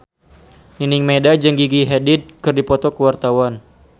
Nining Meida jeung Gigi Hadid keur dipoto ku wartawan